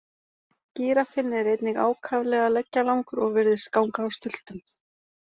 Gíraffinn er einnig ákaflega leggjalangur og virðist ganga á stultum.